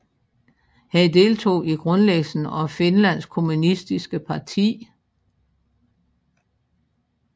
Han deltog i grundlæggelsen af Finlands kommunistiske parti